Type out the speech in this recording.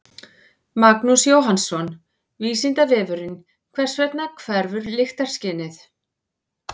Magnús Jóhannsson: Vísindavefurinn: Hvers vegna hverfur lyktarskynið?